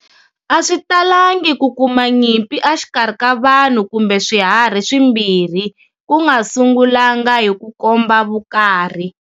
Aswitalangi ku kuma nyimpi a xikarhi ka vanhu kumbe swiharhi swimbirhi, ku nga sungulanga hi ku komba vukarhi.